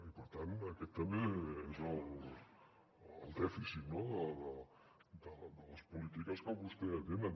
i per tant aquest també és el dèficit de les polítiques que vostès tenen